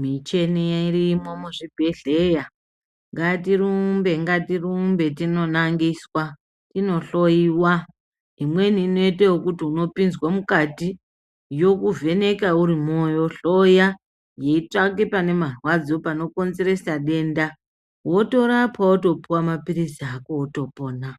,micheni iya irimo muzvibhedhleya. Ngatirumbe ngatirumbe tinonangiswa, tinohloiwa! Imweni inoite ekuti unopinzwe mukati, yokuvhenekwa urimwo, yohloya yeitsvake pane marwadzo panokonzeresa denda wotorapwa wotopuwa maphirizi ako wotopona.